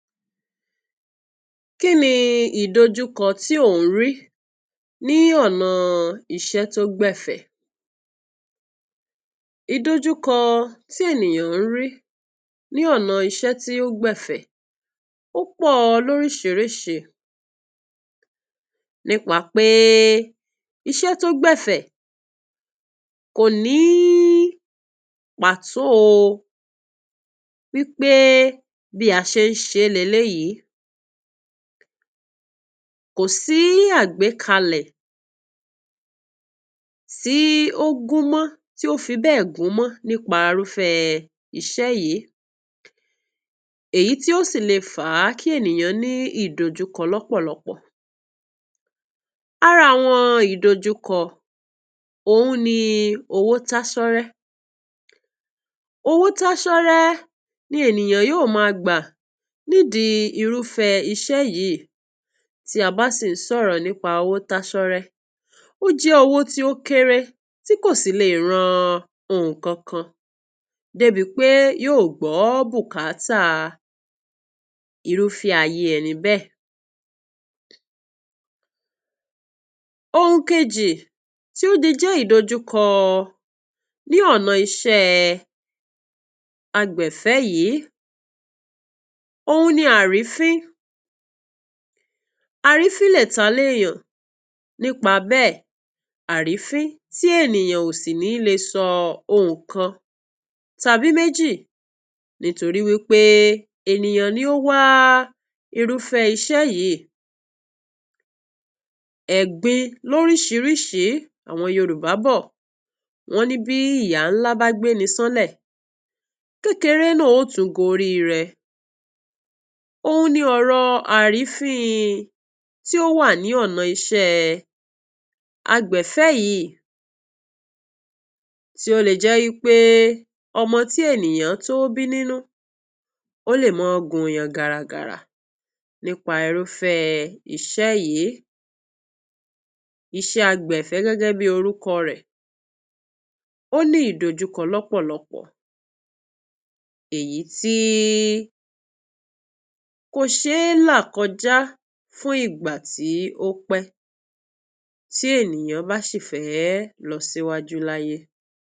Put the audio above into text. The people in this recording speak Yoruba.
Kí ni ìdojúkọ tí ò ń rí ní ọ̀nà iṣẹ́ tó gbẹ̀fẹ̀, ìdojúkọ tí ènìyàn ń rí ní ọ̀nà iṣẹ́ tí ó gbẹ̀fẹ̀ ó pọ̀ ọ lórísirísi, ní pa pé é iṣẹ́ tó gbẹ̀fẹ̀ kò ní í pàtó o wí pé é bí a ṣe ń ṣe é leléyìí, kò sí í àgbékalẹ̀ tí ó gúnmọ́ tí o fi bẹ́ẹ̀ gúnmọ́ ní pa irúfẹ́ iṣẹ́ yìí èyítí ó sì le fà á kí ènìyàn ní ìdojúkọ lọ́pọ̀lọpọ̀. Ara àwọn ìdojúkọ òhun ni owó táṣọ́rẹ́, owó táṣọ́rẹ́ ni ènìyàn yí ó má a gbà nìdí i irúfẹ́ iṣẹ́ yìí tí a bá sì ń sọ̀rọ̀ ní pa owó táṣọ́rẹ́ ó jẹ́ owó tí ó kéré tí kò sì le ran nǹkankan dé bi pé yóò gbọ́ bùkátà irúfẹ́ ayé ẹni bẹ́ẹ̀. Ohun kejì tí ó le jẹ́ ìdojúkọ ní ọ̀nà iṣẹ́ ẹ agbẹ̀fẹ́ yìí òhun ni àrífín, àrífín lè ta lé yàn ní pa bẹ́ẹ̀, àrífín tí ènìyàn ò sì ní le ṣọ ohùn kan tàbí méjì nítorí wí pé èniyàn ni ó wá irúfẹ́ iṣẹ́ yìí. Ẹ̀gbin lórísirísi, àwọn Yorùbá bọ̀ wọ́n ní bí ìyà ńlá bá gbéni ṣánlẹ̀ kéreré náà ó tún gorí rẹ, òhun ní ọ̀rọ̀ àrífín in tí ó wà ní ọ̀nà iṣẹ́ agbẹ̀fẹ́ yìí tí ó le jẹ́ wí pé ọmọ tí ènìyàn tó bí ní nú ó lè mọ gùn yàn gàràgàrà ní pa irúfẹ́ iṣẹ́ yìí. Iṣẹ́ agbẹ̀fẹ́ gégé bí orúko rè, ó mí ìdojúkó lọ́pọ̀lọpọ̀ èyítí í kò ṣe é là kọjá fún ìgbà tí ó pé tí ènìyàn bá sì fẹ́ ẹ́ lọ síwájú láyé